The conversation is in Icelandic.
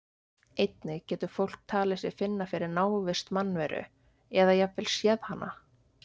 Einnig getur fólk talið sig finna fyrir návist mannveru eða jafnvel séð hana.